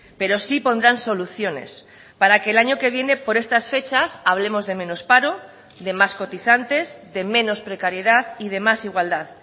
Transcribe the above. pero sí pondrán soluciones para que el año que viene por estas fechas hablemos de menos paro de más cotizantes de menos precariedad y de más igualdad